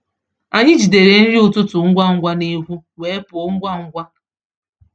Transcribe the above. Anyị jidere nri ụtụtụ ngwa ngwa n’ekwú wee pụọ ngwa ngwa.